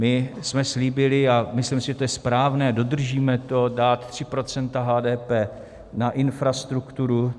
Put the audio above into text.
My jsme slíbili, a myslím si, že to je správné, dodržíme to, dát 3 % HDP na infrastrukturu.